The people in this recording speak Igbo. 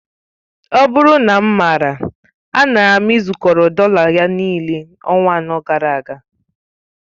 Ọ bụrụ na mmara, a nara m ịzukọrọ dọla ya, niile ọnwa anọ gara aga